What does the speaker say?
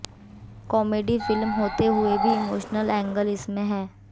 comedy film होते हुए भी इमोशनल एंगल इसमें है